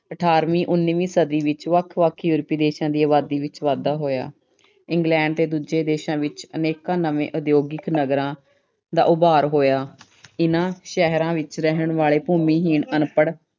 ਅਠਾਰਵੀਂ ਉਨੀਵੀਂ ਸਦੀ ਵਿੱਚ ਵੱਖ-ਵੱਖ European ਦੇਸ਼ਾਂ ਦੀ ਆਬਾਦੀ ਵਿੱਚ ਵਾਧਾ ਹੋਇਆ। England ਤੇ ਦੂਜੇ ਦੇਸ਼ਾਂ ਵਿੱਚ ਅਨੇਕਾਂ ਨਵੇਂ ਉਦਯੋਗਿਕ ਨਗਰਾਂ ਦਾ ਉਭਾਰ ਹੋਇਆ। ਇਹਨਾਂ ਸ਼ਹਿਰਾਂ ਵਿੱਚ ਰਹਿਣ ਵਾਲੇ ਭੂਮੀਹੀਣ ਅਨਪੜ੍ਹ